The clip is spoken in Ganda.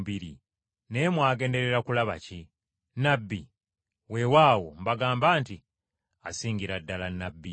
Naye mwagenderera kulaba ki? Nnabbi? Weewaawo ka mbabuulire, oyo asinga ne nnabbi.